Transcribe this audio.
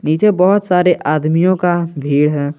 नीचे बहोत सारे आदमियों का भीड़ है।